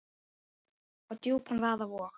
og djúpan vaða vog.